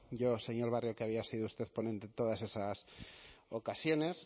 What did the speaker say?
yo señor barrio que había sido usted ponente en todas estas ocasiones